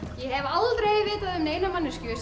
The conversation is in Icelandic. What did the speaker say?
ég hef aldrei vitað um neina manneskju sem